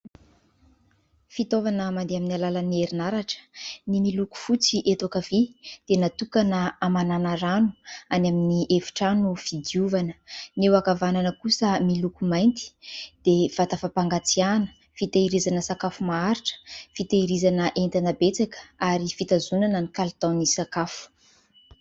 Fitaovana mandeha amin'ny alalan'ny herinaratra. Ny miloko fotsy eto ankavia dia natokana hamanana rano any amin'ny efitrano fidiovana, ny eo ankavanana kosa miloko mainty dia vata fapangatsiahana fitehirizana sakafo maharitra, fitehirizana entana betsaka ary fitazonana ny kalitaon'ny sakafo.